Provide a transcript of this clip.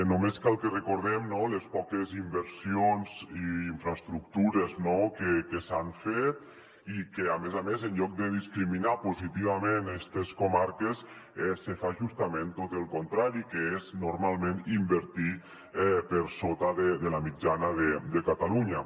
només cal que recordem les poques inversions i infraestructures que s’hi han fet i que a més a més en lloc de discriminar positivament estes comarques se fa justament tot el contrari que és normalment invertir hi per sota de la mitjana de catalunya